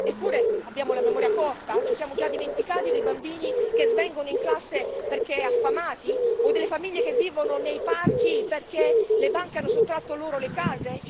Eppure abbiamo la memoria corta ci siamo già dimenticati dei bambini che svengono in classe perché affamati o delle famiglie che vivono nei parchi, perché le banche hanno sottratto loro le case?